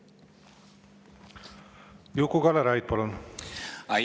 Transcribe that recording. Juku-Kalle Raid, palun!